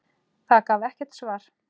Það gaf ekkert svar.